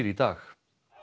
dag